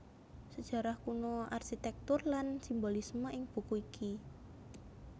Sejarah kuno arsitektur lan simbolisme ing buku iki